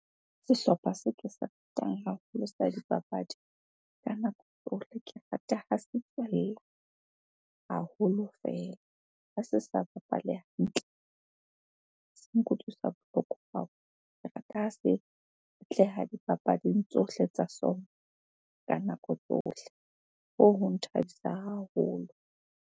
Sehlopha seo ke se ratang haholo sa dipapadi, ka nako tsohle ke rata ha se tswella haholo fela. Ha se sa bapale hantle, se nkutlwisa bohloko dipapading tsohle tsa sona ka nako tsohle. Hoo ho nthabisa haholo.